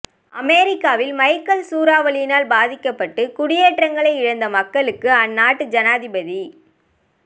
அமெரிக்காவில் மைக்கல் சூறாவளியினால் பாதிக்கப்பட்டு குடியேற்றங்களை இழந்த மக்களுக்கு அந்நாட்டு ஜனாதிபத